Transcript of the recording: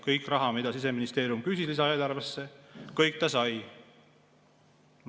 Kogu raha, mida Siseministeerium lisaeelarvesse küsis, ta sai.